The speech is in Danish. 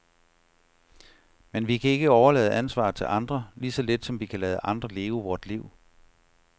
Men vi kan ikke overlade ansvaret til andre, lige så lidt som vi kan lade andre leve vort liv.